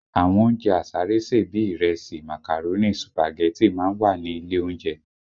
Àwọn oúnjẹ àsáré sè bíi ìrẹsì, màkàrónì, sùpàgẹ́tì má ń wà ní ilé oúnjẹ